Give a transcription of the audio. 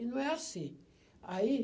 E não é assim. Aí